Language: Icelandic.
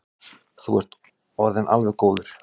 Þú ert orðinn alveg góður.